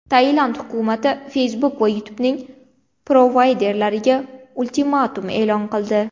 Tailand hukumati Facebook va YouTube’ning provayderlariga ultimatum e’lon qildi.